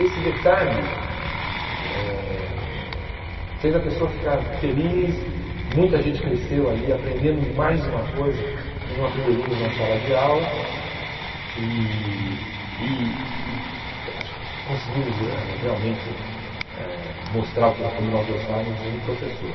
Esse detalhe eh eh fez a pessoa ficar feliz, muita gente cresceu ali, aprendemos mais uma coisa que não aprenderíamos na sala de aula e e e acho que conseguimos ãh realmente eh mostrar o que como nós gostávamos de um professor.